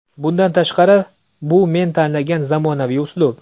Bundan tashqari, bu men tanlagan zamonaviy uslub.